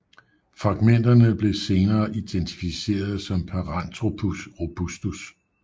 Fragmenterne blev senere identificeret som Paranthropus robustus